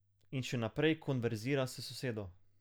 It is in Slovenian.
In še naprej konverzira s sosedo.